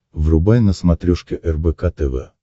врубай на смотрешке рбк тв